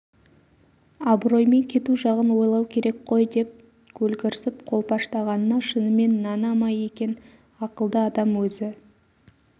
абыроймен кету жағын ойлау керек қой деп көлгірсіп қолпаштағанына шынымен нана ма екен ақылды адам өзі